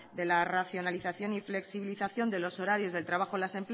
de la nacionalización y flexibilización de los horarios del trabajo en las